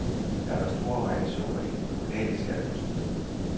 Der er dog store variationer i den kommunale skatteprocent.